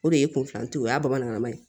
O de ye kunfilanin ye o y'a bamanankan ye